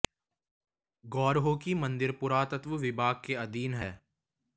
गौर हो कि मंदिर पुरातत्त्व विभाग के अधीन है